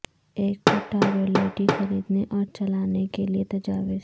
ایک پٹا رولیٹی خریدنے اور چلانے کے لئے تجاویز